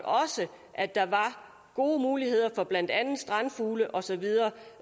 at der var gode muligheder for blandt andet strandfugle og så videre